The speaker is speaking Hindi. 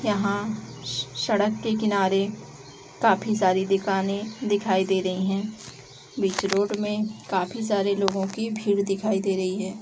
यहाँ श सड़क के किनारे काफी सारी दुकाने दिखाई दे रही है। बीच रोड में काफी सारे लोगो की भीड़ दिखाई दे रही है।